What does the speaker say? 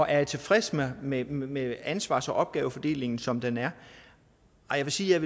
jeg tilfreds med med ansvars og opgavefordelingen som den er jeg vil sige at